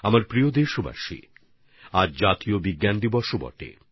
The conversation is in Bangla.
আমার প্রিয় দেশবাসী আজ জাতীয় বিজ্ঞান দিবসও বটে